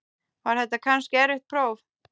Var þetta kannski erfitt próf?